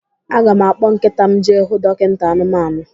Aga m akpọ nkịta m jee hụ dọkinta anụmanụ.